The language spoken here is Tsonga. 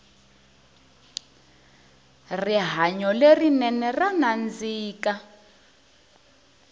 rihanyo le rinene ra nandzika